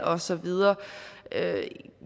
og så videre